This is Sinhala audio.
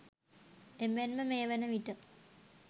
එමෙන්ම මේ වන විට